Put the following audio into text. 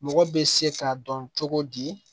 Mɔgɔ bɛ se k'a dɔn cogo di